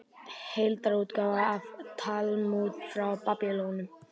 Heildarútgáfa af Talmúð frá Babýloníu.